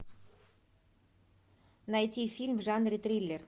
найти фильм в жанре триллер